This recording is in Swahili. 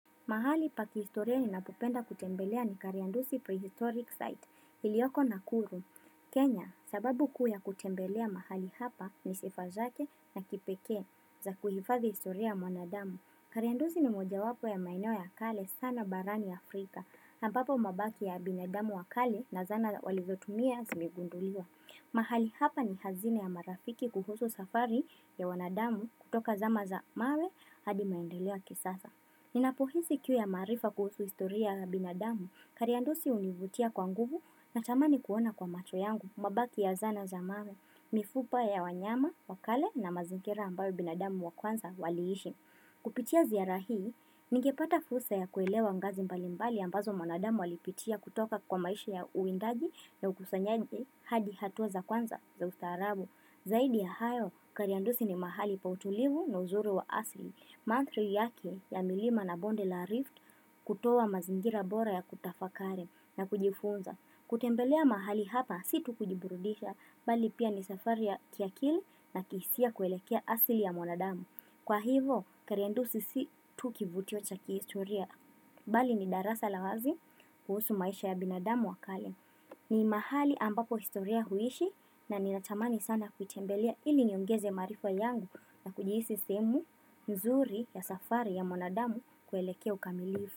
Mahali pa kihistoria ninapopenda kutembelea ni kariandusi prehistoric site iliyoko nakuru. Kenya, sababu ku ya kutembelea mahali hapa ni sifa zake na kipekee za kuhifadhi historia ya mwanadamu. Kariandusi ni mojawapo ya maeneo ya kale sana barani Afrika, ambapo mabaki ya binadamu wakale na zana walizotumia zimegunduliwa. Mahali hapa ni hazina ya marafiki kuhusu safari ya wanadamu kutoka zama za mawe hadi maendeleo ya kisasa. Ninapohisi kiu ya maarifa kuhusu historia ya binadamu, kariandusi hunivutia kwa nguvu na tamani kuona kwa macho yangu, mabaki ya zana za mawe, mifupa ya wanyama, wakale na mazingira ambayo binadamu wa kwanza waliishi. Kupitia ziara hii, ningepata fursa ya kuelewa ngazi mbalimbali ambazo mwanadamu alipitia kutoka kwa maisha ya uwindaji na ukusanyaji hadi hatua za kwanza za ustaarabu. Zaidi ya hayo, kariandusi ni mahali pa utulivu na uzuri wa asili. Mandhari yake ya milima na bonde la rift kutoa mazingira bora ya kutafakari na kujifunza. Kutembelea mahali hapa si tu kujiburudisha, bali pia ni safari ya kiakili na kihisia kuelekea asili ya mwanadamu. Kwa hivo, kariandusi si tu kivutio cha kihistoria, bali ni darasa la wazi kuhusu maisha ya binadamu wakale. Ni mahali ambapo historia huishi na ninatamani sana kutembelea ili niongeze maarifa yangu na kujihisi sehemu mzuri ya safari ya mwanadamu kuelekea ukamilifu.